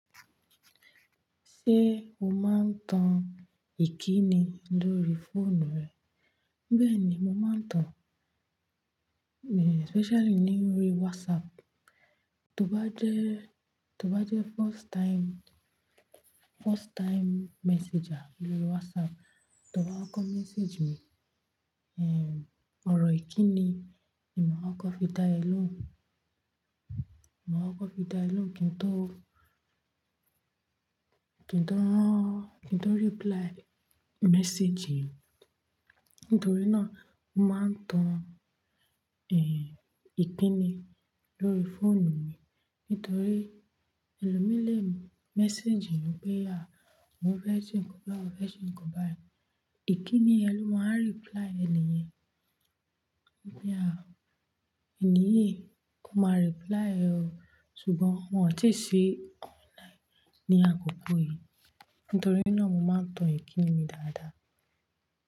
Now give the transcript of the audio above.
Ṣé o máa ń tan ìkíni lórí fóònù rẹ? Bẹ́ẹ̀ ni, mo máa ń tan, eh, especially ní orí WhatsApp. Tó bá jẹ́, tó bá jẹ́ first time, first time messenger lórí WhatsApp, tọ bá kọ message mi, eh, ọ̀rọ̀ ìkíni ni màá kọ fi dá ẹ lóhùn. Màá kọ fi dá ẹ lóhùn kí n tó, kí n tó, kí n tó reply message. Nítorí náà, mo máa ń tan, eh, ìkíni lórí fóònù mi. Nítorí ẹlòmí le message mi pé à, Oun fẹ́ ṣe nǹkan bá e, oun fẹ́ ṣe nǹkan bá ẹ. Ìkíni ni yẹn ló máa n reply ẹni yẹn. Pé à, ènì yii kò máa reply ẹ o. Ṣùgbọ́n wọn ò tíì sí online ní àkókò yìí. Nítorí náà, mo máa ń tan ìkíni mi dáadáa.